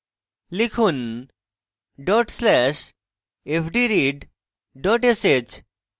লিখুন: dot slash fdread dot sh